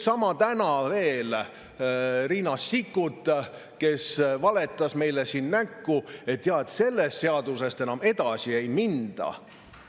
Täna veel Riina Sikkut valetas meile näkku, et sellest seadusest enam edasi ei minda.